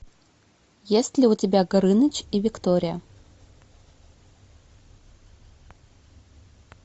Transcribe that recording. есть ли у тебя горыныч и виктория